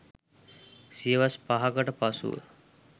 සියවස් 5 කට පසුව